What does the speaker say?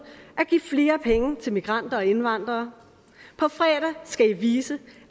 at give flere penge til migranter og indvandrere på fredag skal i vise